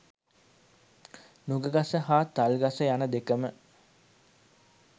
නුගගස හා තල්ගස යන දෙකම